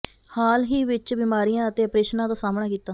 ਹਾਲ ਹੀ ਵਿਚ ਬੀਮਾਰੀਆਂ ਅਤੇ ਅਪਰੇਸ਼ਨਾਂ ਦਾ ਸਾਹਮਣਾ ਕੀਤਾ